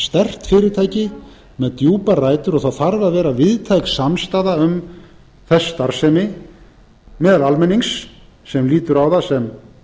sterkt fyrirtæki með djúpar rætur og það þarf að vera víðtæk samstaða um þess starfsemi meðal almennings sem lítur á það sem